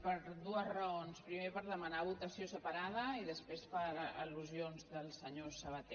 per dues raons primer per demanar votació separada i després per al·lusions del senyor sabaté